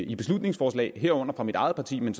i beslutningsforslag herunder fra mit eget parti men